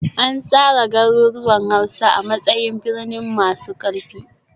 An tsara garuruwan Hausa a matsayin birni masu ƙarfi